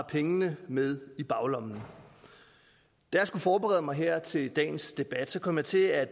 pengene med i baglommen da jeg skulle forberede mig her til dagens debat kom jeg til at